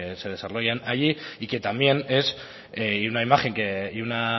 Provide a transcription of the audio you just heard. se desarrollan allí y que también es una imagen y una